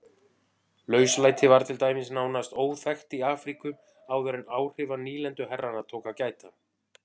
Lauslæti var til dæmis nánast óþekkt í Afríku áður en áhrifa nýlenduherrana tók að gæta.